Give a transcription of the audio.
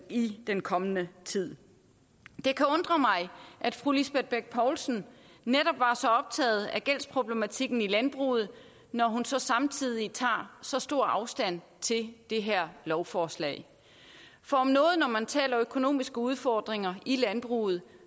i den kommende tid det kan undre mig at fru lisbeth bech poulsen netop var så optaget af gældsproblematikken i landbruget når hun så samtidig tager så stor afstand til det her lovforslag for om noget når man taler økonomiske udfordringer i landbruget